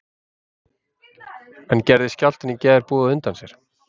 En gerði skjálftinn í gær boð á undan sér?